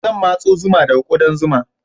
Zan matso zuma daga ƙudan zuma.